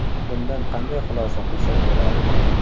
Bundan qanday xulosa qilsak bo‘ladi?